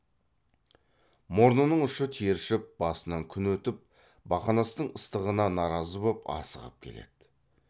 мұрнының ұшы тершіп басынан күн өтіп бақанастың ыстығына наразы боп асығып келеді